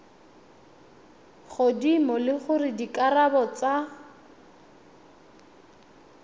godimo le gore dikarabo tsa